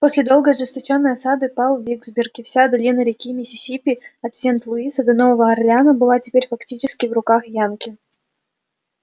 после долгой и ожесточённой осады пал виксберг и вся долина реки миссисипи от сент-луиса до нового орлеана была теперь фактически в руках янки